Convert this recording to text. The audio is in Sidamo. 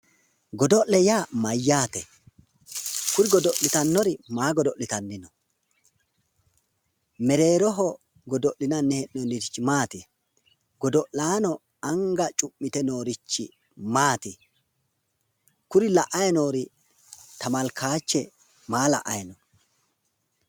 Godo'le yaa mayyaate? Kuri godo'litannori maa godo'litanni no? Merreroho godo'linanni hee'noonnirichi maati? Godo'laano anga cu'mite noorichi maati? Kuri la'ayi noori temelkaache maa la'ayi no?